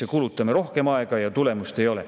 Me kulutame rohkem aega, aga tulemust ei ole.